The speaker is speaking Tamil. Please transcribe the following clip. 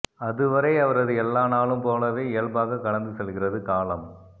அதுவரை அவரது எல்லா நாளும் போலவே இயல்பாக கடந்து செல்கிறது காலம்